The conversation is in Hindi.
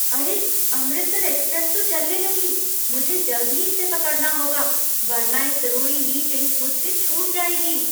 अरे! अमृतसर एक्सप्रेस तो चलने लगी। मुझे जल्द ही इसे पकड़ना होगा, वरना एक ज़रूरी मीटिंग मुझसे छूट जाएगी!